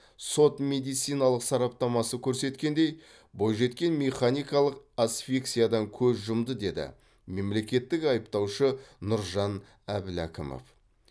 сот медициналық сараптамасы көрсеткендей бойжеткен механикалық асфиксиядан көз жұмды деді мемлекеттік айыптаушы нұржан әбләкімов